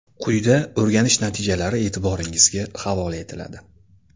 Quyida o‘rganish natijalari e’tiboringizga havola etiladi.